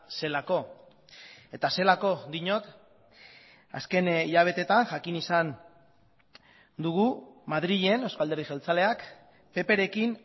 zelako eta zelako diot azken hilabeteetan jakin izan dugu madrilen euzko alderdi jeltzaleak pprekin